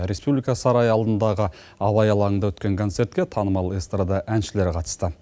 республика сарайы алдындағы абай алаңында өткен концертке танымал эстрада әншілері қатысты